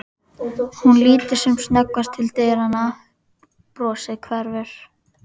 Hún lítur sem snöggvast til dyranna, brosið hverfur.